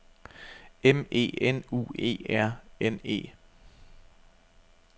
M E N U E R N E